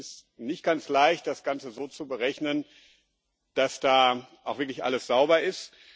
Es ist nicht ganz leicht, das Ganze so zu berechnen, dass da auch wirklich alles sauber ist.